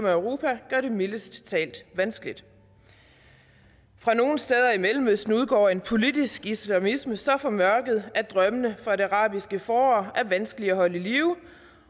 og europa gør det mildest talt vanskeligt fra nogle steder i mellemøsten udgår en politisk islamisme så formørket at drømmene for det arabiske forår er vanskelige at holde i live og